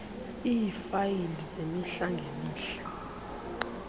iifayile zemihla ngemihla